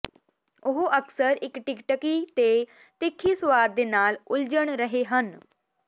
ਉਹ ਅਕਸਰ ਇੱਕ ਟਿਕਟਿਕੀ ਅਤੇ ਤਿੱਖੀ ਸੁਆਦ ਦੇ ਨਾਲ ਉਲਝਣ ਰਹੇ ਹਨ